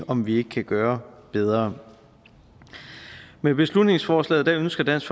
om vi ikke kan gøre bedre med beslutningsforslaget ønsker dansk